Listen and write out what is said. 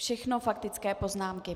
Všechno faktické poznámky.